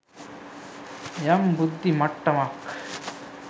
යම් බුද්ධි මට්ටමක්